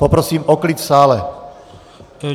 Poprosím o klid v sále.